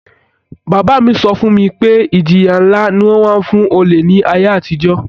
Bàbá mi so fún mi pe ìjìyà nlá ni won má n fun olè ni àtijó